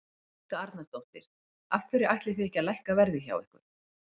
Helga Arnardóttir: Af hverju ætlið þið ekki að lækka verð hjá ykkur?